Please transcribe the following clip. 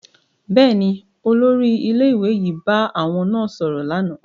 Bẹẹni, olórí ilé-ìwé yìí bá àwọn náà sọrọ lànà